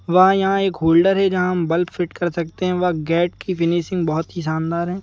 वहं यहां एक होल्डर है जहां हम बल्ब फिट कर सकते हैं व गेट की फिनिशिंग बहोत शानदार है।